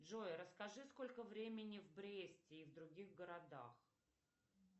джой расскажи сколько времени в бресте и в других городах